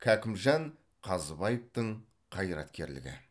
кәкімжан қазыбаевтың қайраткерлігі